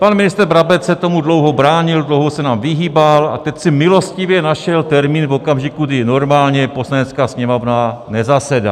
Pan ministr Brabec se tomu dlouho bránil, dlouho se nám vyhýbal a teď si milostivě našel termín v okamžiku, kdy normálně Poslanecká sněmovna nezasedá.